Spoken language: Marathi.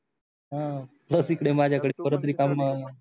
ह बस इकडे माझ्याकडे परत रिकामा